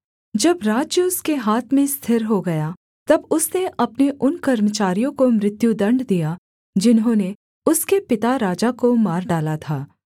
जब राज्य उसके हाथ में स्थिर हो गया तब उसने अपने उन कर्मचारियों को मृत्युदण्ड दिया जिन्होंने उसके पिता राजा को मार डाला था